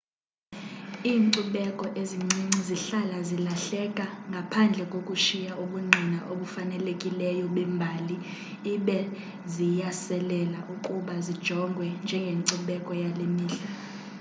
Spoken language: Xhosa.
iinkcubeko ezincinci zihlala zilahleka ngaphandle kokushiya ubungqina obufanelekileyo bembali ibe ziyaselela ukuba zijongwe njengencubeko yale mihla